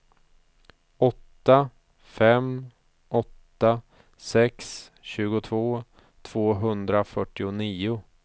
åtta fem åtta sex tjugotvå tvåhundrafyrtionio